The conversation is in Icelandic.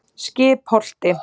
Skipholti